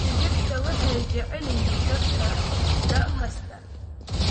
Digirta waxay jecel yihiin dadka da' kasta.